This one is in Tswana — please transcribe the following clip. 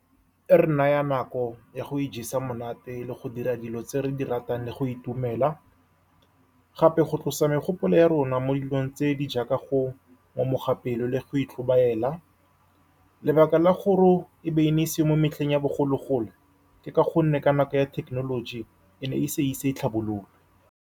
E re naya nako ya go ijesa monate le go dira dilo tse re di ratang, le go itumela gape go , tlosa megopolo ya rona mo dilong tse di jaaka go tlhomoga pelo le go tlhobaela. Lebaka la gore e be e ne e seo mo metlheng ya bogologolo, ke ka gonne ka nako ya thekenoloji e ne e se ise e tlhabologe.